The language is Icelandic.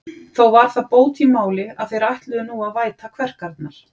Þó var það bót í máli, að þeir ætluðu nú að væta kverkarnar.